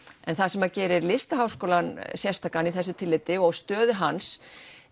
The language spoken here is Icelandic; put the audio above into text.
en það sem gerir Listaháskólann sérstakan í þessu tilliti og stöðu hans